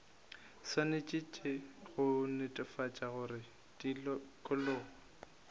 swanetše go netefatša gore tikologo